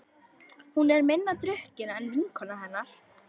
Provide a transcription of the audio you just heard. Hún er minna drukkin en vinkona hennar.